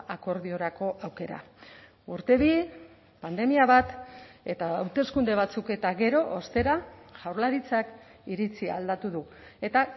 akordiorako aukera urte bi pandemia bat eta hauteskunde batzuk eta gero ostera jaurlaritzak iritzia aldatu du eta